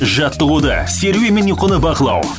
жаттығуды серуен мен ұйқыны бақылау